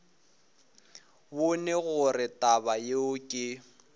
bone gore taba yeo ke